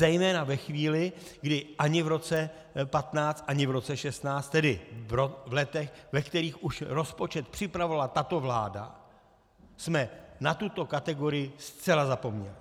Zejména ve chvíli, kdy ani v roce 2015, ani v roce 2016, tedy v letech, ve kterých už rozpočet připravovala tato vláda, jsme na tuto kategorii zcela zapomněli.